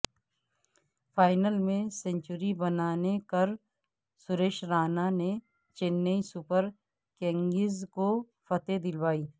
final میں century بنانے کر سریش رائنا نے چنئی سپر کنگز کو فتح دلوائی